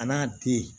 A n'a den